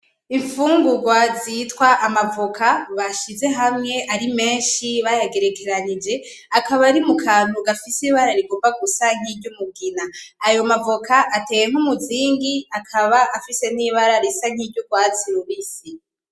Infungugwa zitwa amavocat bashize hamwe ari menshi bayagerekaranije akaba ari mu kantu gafise ibara rigomba gusa nki ry'umugina. Ayo mavocat ateye nkumuzingi akaba afise nibara risa nkiryo rwatsi rubisi.